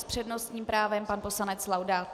S přednostním právem pan poslanec Laudát.